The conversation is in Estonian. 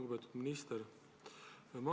Lugupeetud minister!